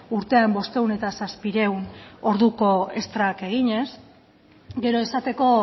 urtean bostehun eta zazpiehun orduko estrak eginez gero esateko